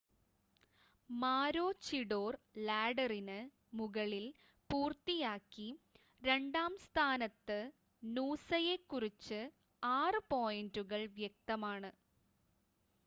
മാരോചിഡോർ ലാഡറിന് മുകളിൽ പൂർത്തിയാക്കി രണ്ടാം സ്ഥാനത്ത് നൂസയെക്കുറിച്ച് 6 പോയിൻ്റുകൾ വ്യക്തമാണ്